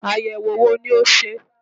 Àyẹ̀wò wo ni o ṣe?